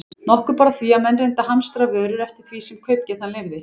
Nokkuð bar á því, að menn reyndu að hamstra vörur eftir því sem kaupgetan leyfði.